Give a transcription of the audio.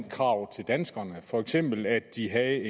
krav til danskerne for eksempel at de havde